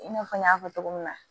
I n'a fɔ n y'a fɔ cogo min na